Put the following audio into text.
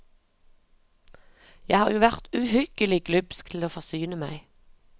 Jeg har jo vært uhyggelig glupsk til å forsyne meg.